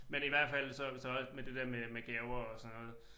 Men i hvert fald så så også med det der med med gaver og sådan noget